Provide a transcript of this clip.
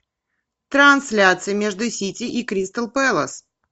трансляция между сити и кристал пэлас